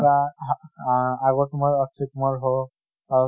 এটা আহা আগৰ তোমাৰ অক্সয় কুমাৰ হৌক, বা